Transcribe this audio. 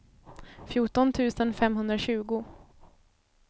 fjorton tusen femhundratjugo